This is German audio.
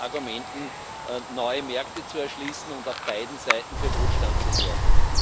Argumenten neue Märkte zu erschließen und auf beiden Seiten für Wohlstand zu sorgen?